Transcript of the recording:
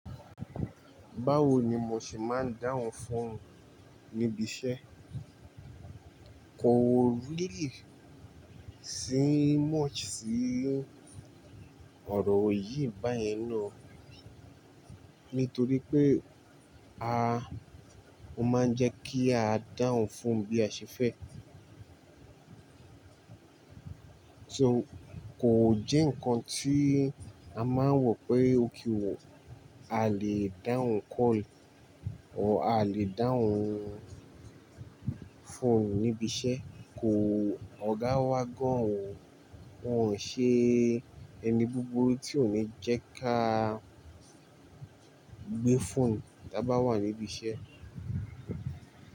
Báwo ni mo ṣe máa ń dáhùn fóònù níbi iṣẹ́? Kò really, sí much sí ọ̀rọ̀ yìí báyen náà nítorí pé a, o máa ń jẹ́ kí a dáhùn fóònù bí a ṣe fẹ́. So kò jẹ́ nǹkan tí a máa ń wọ̀ pé okay o, a lè dáhùn call o a lè dáhùn fóònù níbi iṣẹ́ kò, ọ̀gá wa gan òún, wọn ò ṣe ẹni búburú tí ò ní jẹ́ ká gbé fóònù tí a bá wà níbi iṣẹ́